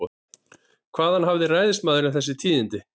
Hvaðan hafði ræðismaðurinn þessi tíðindi?